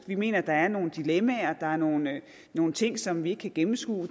vi mener der er nogle dilemmaer nogle nogle ting som vi ikke kan gennemskue